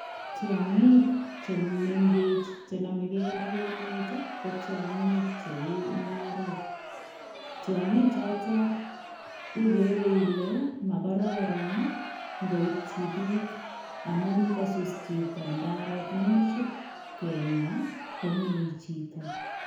Tiangiik che mengech che namegei ak emeet ii ko tiangiik che uu ndarook tiangiik chotoon igere Ile magororon ingoityii biik amuun ngosus chitoo ndaret ako ingomasup kenyaa komee chitoo.